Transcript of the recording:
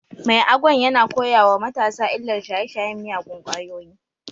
Mai Agwan yana koya wa matasa illar shaye-shayen miyagun kwayoyi